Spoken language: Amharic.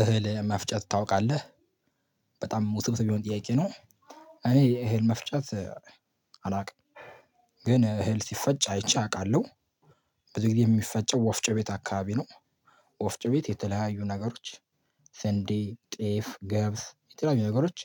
እህል መፍጨት ታውቃለህ በጣም ውስብስብ የሆነ ጥያቄ ነው። እኔ እህል መፍጨት አላውቅም። ግን እህል ሲፈጭ አይቼ አውቃለሁ። ብዙ ጊዜ የሚፈጨው ወፍጮ ቤት አካባቢ ነው። ወፍጮ ቤት የተለያዩ ነገሮች። ስንዴ ጤፍ ገብስ የተለያዩ ነገሮች።